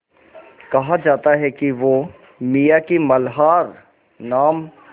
कहा जाता है कि वो मियाँ की मल्हार नाम